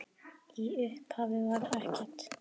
Í upphafi var ekkert.